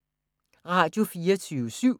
Radio24syv